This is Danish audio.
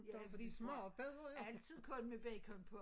Ja vi tager altid kun med bacon på